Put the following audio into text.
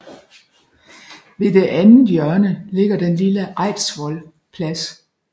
Ved det andet hjørne ligger den lille Eidsvoll Plads